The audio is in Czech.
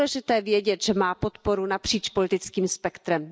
Je důležité vědět, že má podporu napříč politickým spektrem.